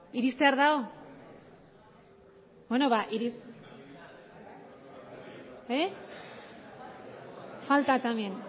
niri esan